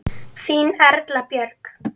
Þín Erla Björk.